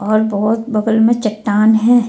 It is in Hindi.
और बहुत बगल में चट्टान हैं।